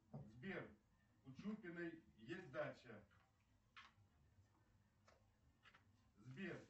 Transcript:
сбер у чупиной есть дача сбер